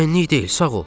Mənlik deyil, sağ ol.